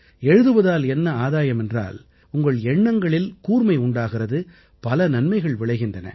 எழுதுவதால் என்ன ஆதாயம் என்றால் உங்கள் எண்ணங்களில் கூர்மை உண்டாகிறது பல நன்மைகள் விளைகின்றன